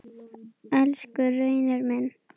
Elsku Reynir minn.